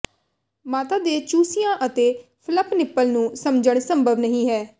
ਮਾਤਾ ਦੇ ਚੂਸਿਆਂ ਅਤੇ ਫਲੱਪ ਨਿੱਪਲ ਨੂੰ ਸਮਝਣਾ ਸੰਭਵ ਨਹੀਂ ਹੈ